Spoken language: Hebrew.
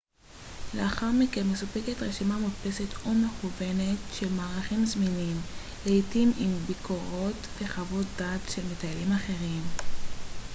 לאחר מכן מסופקת רשימה מודפסת ו/או מקוונת של מארחים זמינים לעתים עם ביקורות וחוות דעת של מטיילים אחרים